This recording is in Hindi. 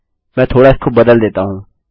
मैं थोड़ा उसको बदल देता हूँ